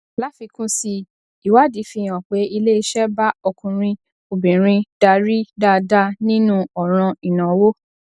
láfikún sí i ìwádìí fi hàn pé iléeṣẹ bá ọkùnrin obìnrin darí dáadáa nínú òràn ìnáwó